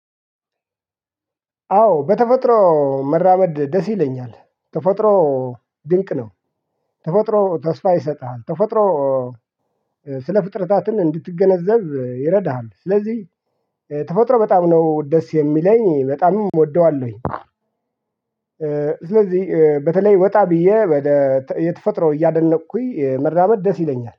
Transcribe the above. አዎ በተፈጥሮ መራመድ ደስ ይለኛል ተፈጥሮ ድንቅ ነው። ተፈጥሮ ተስፋ ይሰጥሃል ተፈጥሮ ስለ ፍጥረታትን እንድትገነዘብ ይረዳሃል። ስለዚህ ተፈጥሮ በጣም ነው ደስ የሚለኝ በጣም እወደዋለሁኝ። ስለዚህ በተለይ ወጣ ብዬ የተፈጥሮ እያደነቅኩኝ መራመድ ደስ ይለኛል